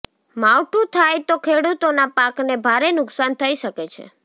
માવઠું થાય તો ખેડૂતોના પાકને ભારે નુકસાન થઇ શકે છે